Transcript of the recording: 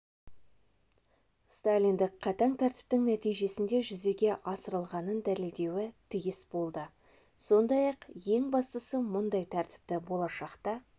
сталиндік қатаң тәртіптің нәтижесінде жүзеге асырылғанын дәлелдеуі тиіс болды сондай-ақ ең бастысы мұндай тәртіпті болашақта